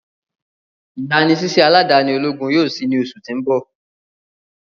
igbanisiṣẹ aladani ologun yoo ṣii ni oṣu ti n bọ.